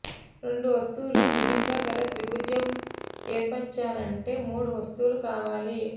రెండు వస్తువులు భుజంగా గల త్రిభుజం యేర్పరచాలంటే మూడు వస్తువులు కావాలి